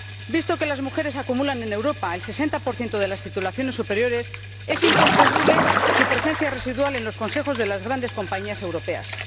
Visto que las mujeres acumulan en Europa el sesenta por ciento de las titulaciones superiores, es incomprensible su presencia residual en los consejos de las grandes compañías europeas.